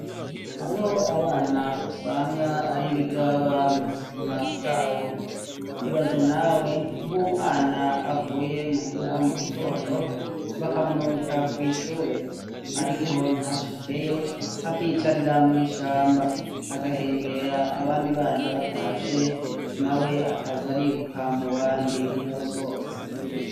Hariho abana usanga ari ibigaba mu buzima bwabo. Ibaze nawe nk'umwana avuye muhira mu gitondo bakamurungika kw' ishure, ariko ntashikeyo akiyicarira mw' ishamba; agahengera abandi bana batashe, nawe akaza ariruka mu bandi nk'uwusohotse.